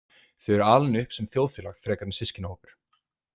Þau eru alin upp sem þjóðfélag frekar en systkinahópur.